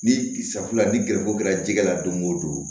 Ni safunɛ ni gɛrɛsɔn kɛra jikɛ la don o don